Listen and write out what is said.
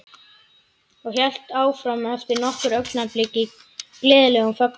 Og hélt svo áfram eftir nokkur augnablik í gleðilegum fögnuði